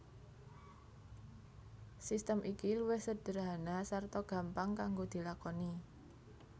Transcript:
Sistem iki luwih sedherhana sarta gampang kanggo dilakoni